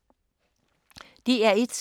DR1